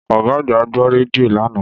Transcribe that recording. Ọ̀gá àgbà gbọ́ rédíò lánàá